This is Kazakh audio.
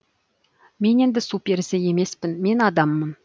мен енді су перісі емес пін мен адаммын